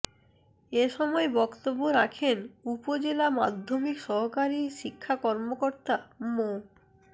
এ সময় বক্তব্য রাখেন উপজেলা মাধ্যমিক সহকারী শিক্ষা কর্মকর্তা মো